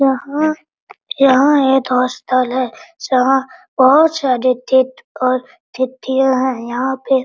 यहां यहां एक हॉस्टल है जहां बहुत सारे गेट और खिड़कियां हैं यहां पे --